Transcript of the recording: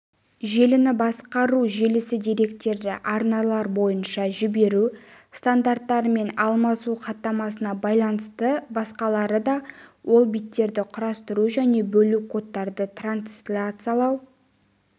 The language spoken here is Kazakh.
желіні басқару желісі деректерді арналар бойынша жіберу стандарттарымен алмасу хаттамасына байланысты басқарылады ол биттерді құрастыру және бөлу кодтарды трансляциялау